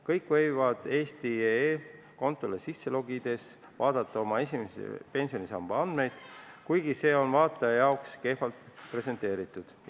Kõik võivad eesti.ee kontole sisse logides vaadata oma esimese pensionisamba andmeid, kuigi see on vaataja jaoks kehvalt presenteeritud.